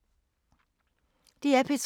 DR P3